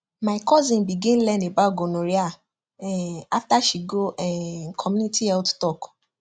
my cousin begin learn about gonorrhea um after she go um community health talk